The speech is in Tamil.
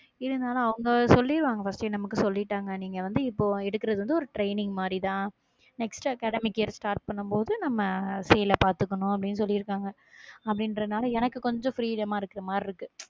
இருந்தாலும் அவங்க சொல்லிடுவாங்க first ஏ நமக்கு சொல்லிட்டாங்க நீங்க வந்து, இப்போ எடுக்கிறது வந்து, ஒரு training மாதிரிதான் next academic year start பண்ணும் போது, நம்ம fail பார்த்துக்கணும் அப்படின்னு சொல்லி இருக்காங்க அப்படின்றதுனாலே எனக்கு கொஞ்சம் freedom இருக்கு மாதிரி இருக்கு.